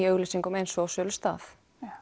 auglýsingum eins og í sölustað